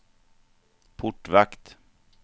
portvakt